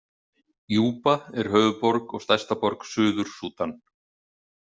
Júba er höfuðborg og stærsta borg Suður-Súdan.